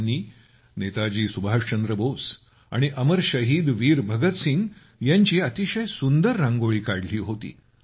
त्यांनी नेताजी सुभाषचंद्र बोस आणि अमर शहीद वीर भगतसिंग यांची अतिशय सुंदर रांगोळी काढली होती